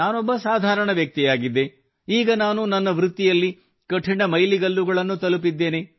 ನಾನೊಬ್ಬ ಸಾಧಾರಣ ವ್ಯಕ್ತಿಯಾಗಿದ್ದೆ ಈಗ ನಾನು ನನ್ನ ವೃತ್ತಿಯಲ್ಲಿ ಕಠಿಣ ಮೈಲಿಗಲ್ಲುಗಳನ್ನು ತಲುಪಿದ್ದೇನೆ